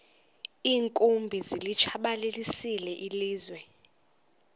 iinkumbi zilitshabalalisile ilizwe